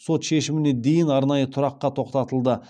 сот шешіміне дейін арнайы тұраққа тоқтатылды